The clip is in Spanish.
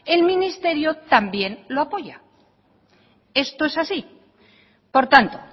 el ministerio también lo apoya esto es así por tanto